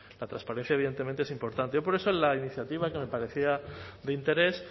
la transparencia evidentemente es importante yo por eso en la iniciativa que me parecía de interés